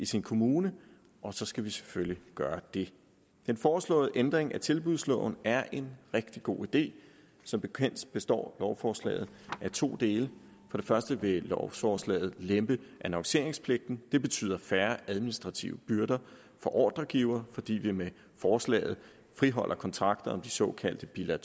sin kommune og så skal vi selvfølgelig gøre det den foreslåede ændring af tilbudsloven er en rigtig god idé som bekendt består lovforslaget af to dele først vil lovforslaget lempe annonceringspligten det betyder færre administrative byrder for ordregiver fordi vi med forslaget friholder kontrakter om de såkaldte bilag